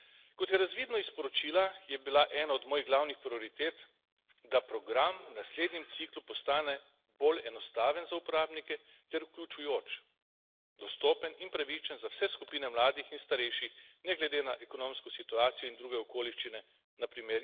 Kot je razvidno iz poročila, je bila ena od mojih glavnih prioritet, da program v naslednjem ciklu postane bolj enostaven za uporabnike ter vključujoč, dostopen in pravičen za vse skupine mladih in starejših, ne glede na ekonomsko situacijo in druge okoliščine, npr.